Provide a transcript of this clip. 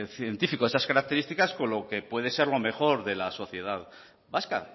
científico de esas características con lo que puede ser lo mejor de la sociedad vasca